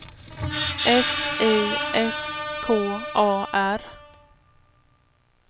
F I S K A R